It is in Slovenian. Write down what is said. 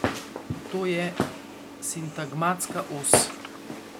To je sintagmatska os.